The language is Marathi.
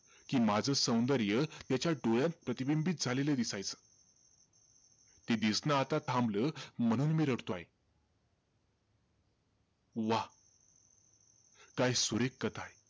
कि माझं सौंदर्य त्याच्या डोळ्यात प्रतिबिंबित झालेलं दिसायचं. ते दिसणं आता थांबलं म्हणून मी रडतो आहे. वाह! काय सुरेख कथा आहे.